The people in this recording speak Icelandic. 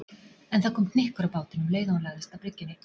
En það kom hnykkur á bátinn um leið og hann lagðist að bryggjunni.